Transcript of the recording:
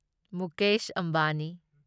Mukesh Ambani